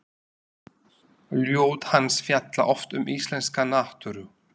Ljóð hans fjalla oft um íslenska náttúru.